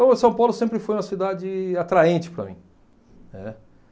Então, São Paulo sempre foi uma cidade atraente para mim, né.